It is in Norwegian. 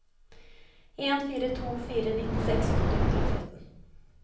en fire to fire nittiseks åtte hundre og tretten